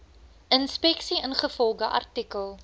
inspeksie ingevolge artikel